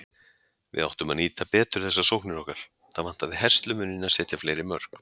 Við áttum að nýta betur þessar sóknir okkar, það vantaði herslumuninn að setja fleiri mörk.